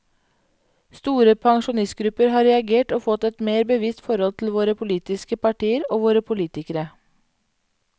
Store pensjonistgrupper har reagert og fått et mer bevisst forhold til våre politiske partier og våre politikere.